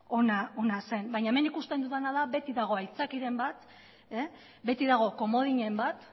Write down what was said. ona zen baina hemen ikusten dudana da beti dagoela aitzakiaren bat beti dago komodinen bat